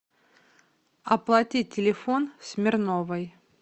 оплатить телефон смирновой